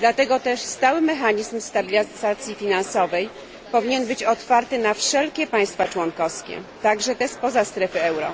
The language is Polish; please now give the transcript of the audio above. Dlatego też stały mechanizm stabilizacji finansowej powinien być otwarty na wszelkie państwa członkowskie, także te spoza strefy euro.